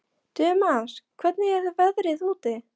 Tumas, hvernig er veðrið úti?